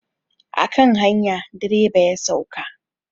A kan hanya direba ya sauka.